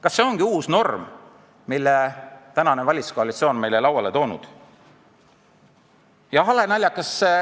Kas see ongi uus norm, mille valitsuskoalitsioon on meile lauale toonud?